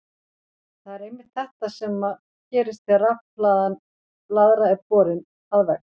Það er einmitt þetta sem gerist þegar rafhlaðin blaðra er borin að vegg.